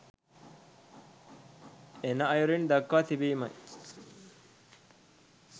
එන අයුරින් දක්වා තිබීමයි